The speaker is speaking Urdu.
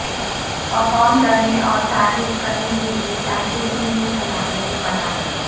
پرفارم کرنے اور تعریف کرنے کے لئے طالب علم کی صلاحیت بڑھانے